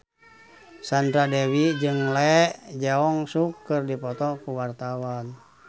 Sandra Dewi jeung Lee Jeong Suk keur dipoto ku wartawan